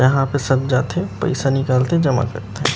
यहाँ पे सब जाते पैसा निकालते जमा कर थे।